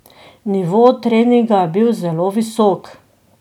Nivo treninga je bil zelo visok.